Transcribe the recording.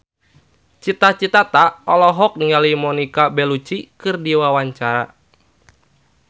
Cita Citata olohok ningali Monica Belluci keur diwawancara